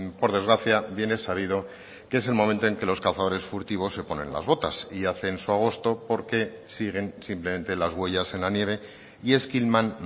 por desgracia bien es sabido que es el momento en que los cazadores furtivos se ponen las botas y hacen su agosto porque siguen simplemente las huellas en la nieve y esquilman